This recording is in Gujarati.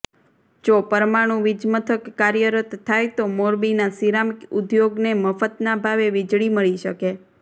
જો પરમાણું વીજમથક કાર્યરત થાય તો મોરબીના સિરામિક ઉદ્યોગને મફતના ભાવે વીજળી મળી શકે